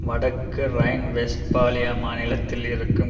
வடக்கு ரைன்வெஸ்ட்பாலியா மாநிலத்தில் இருக்கும்